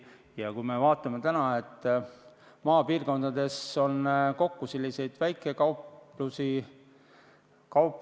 Ja näeme nüüd, kui palju on maapiirkondades selliseid väikekauplusi.